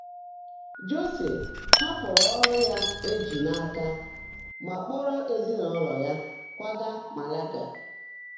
Jọ́sé haàpụ́rụ́ ọ́rụ́ yá é jị́ n’áká mà kpọ́ọ́ró ézinụ́lọ́ yá kwáágá Màláágà.